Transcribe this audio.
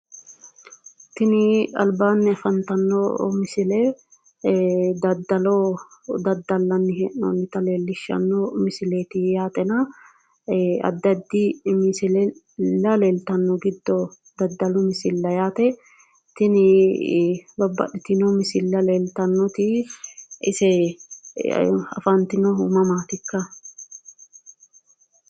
Tini albaanni afantanno misile daddalo daddallanni hee'noonnita leellishshanno misileeti yaatena addi addi misile leeltanno giddo daddalu misilla yaate. Tini babbaxxeewo misilla leeltannoti use afantinohu mamaatikka?